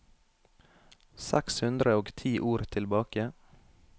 Seks hundre og ti ord tilbake